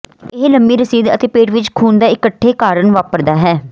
ਇਹ ਲੰਮੀ ਰਸੀਦ ਅਤੇ ਪੇਟ ਵਿੱਚ ਖੂਨ ਦਾ ਇਕੱਠੇ ਕਾਰਨ ਵਾਪਰਦਾ ਹੈ